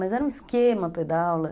Mas era um esquema para eu dar aula.